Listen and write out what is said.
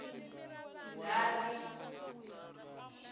ndzati